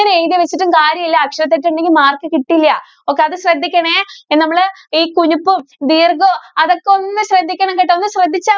നെ എഴുതി വച്ചിട്ടും കാര്യമില്ല. അക്ഷരതെറ്റ് ഉണ്ടെങ്കില്‍ mark കിട്ടില്ല്യ. okay അത് ശ്രദ്ധിക്കണേ. നമ്മള് ഈ കുനിപ്പും, ദീര്‍ഘോം അതൊക്കെ ഒന്ന് ശ്രദ്ധിക്കണം കേട്ടോ. ഒന്ന് ശ്രദ്ധിച്ചാ